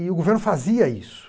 E o governo fazia isso.